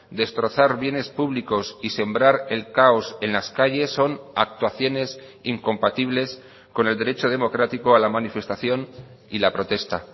destrozar bienes públicos y sembrar el caos en las calles son actuaciones incompatibles con el derecho democrático a la manifestación y la protesta